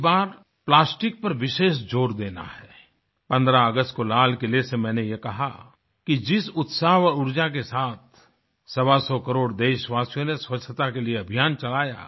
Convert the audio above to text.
इस बार प्लास्टिक पर विशेष जोर देना है 15 अगस्त को लाल किले से मैंने ये कहा कि जिस उत्साह व ऊर्जा के साथ सवासौ करोड़ देशवासियों ने स्वच्छता के लिए अभियान चलाया